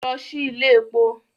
Lọ sí ilé èpo!